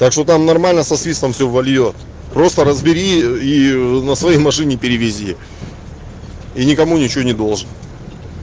так что там нормально со свистом всё вольёт просто разбери и на своей машине перевези и никому ничего не должен